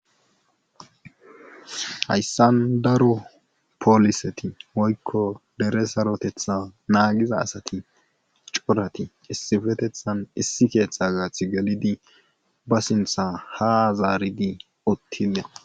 Hayssan daro poliseti woykko dere sarotetha naagida asati corati issippeththan issi keeththa gaaththi gelidi ba sinththa ha zaaridi uttida